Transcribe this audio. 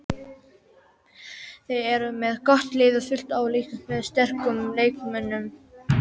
Þeir eru með gott lið, fullt af líkamlega sterkum leikmönnum.